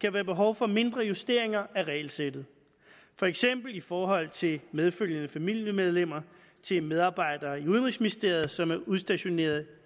kan være behov for mindre justeringer af regelsættet for eksempel i forhold til medfølgende familiemedlemmer til medarbejdere i udenrigsministeriet som er udstationeret